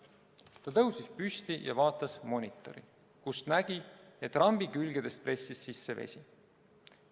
Ta tõusis püsti ja vaatas monitori, kust nägi, et rambi külgedest pressis sisse vesi.